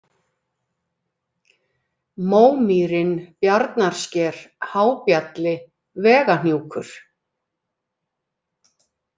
Mómýrin, Bjarnarsker, Hábjalli, Vegahnjúkur